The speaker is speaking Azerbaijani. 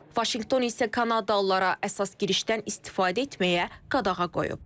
Vaşinqton isə Kanadalılara əsas girişdən istifadə etməyə qadağa qoyub.